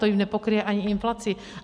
To jim nepokryje ani inflaci.